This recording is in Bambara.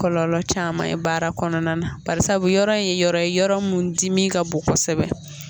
Kɔlɔlɔ caman ye baara kɔnɔna na barisabu yɔrɔ ye yɔrɔ ye yɔrɔ mun dimi ka bon kosɛbɛ.